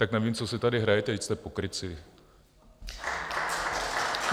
Tak nevím, co si tady hrajete, vždyť jste pokrytci.